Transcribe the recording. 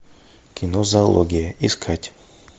кино зоология искать